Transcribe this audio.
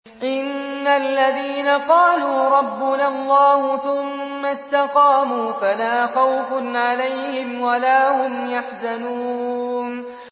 إِنَّ الَّذِينَ قَالُوا رَبُّنَا اللَّهُ ثُمَّ اسْتَقَامُوا فَلَا خَوْفٌ عَلَيْهِمْ وَلَا هُمْ يَحْزَنُونَ